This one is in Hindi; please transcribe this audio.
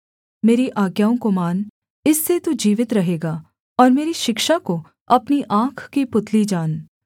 मेरी आज्ञाओं को मान इससे तू जीवित रहेगा और मेरी शिक्षा को अपनी आँख की पुतली जान